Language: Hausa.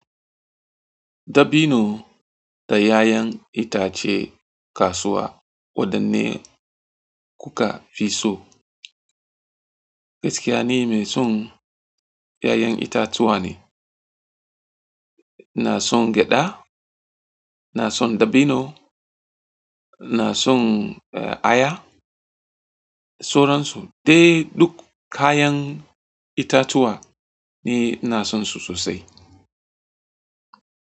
Dabino da ƴaƴan itace kasuwa waɗanne kuka fi so? Gaskiya ni meson yayan itatuwa ne na son gyaɗa, ina son dabino, ina son aya, soran so dai duk kayan itatuwa ni ina son su sosai.